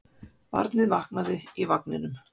Barnið vaknaði í vagninum.